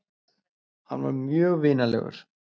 Hann var mjög vinalegur.